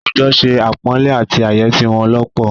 Àwùjọ se àpọ̀nlé àti àyẹ́sí wọn lọ́pọ̀.